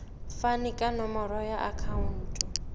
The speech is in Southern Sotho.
fane ka nomoro ya akhauntu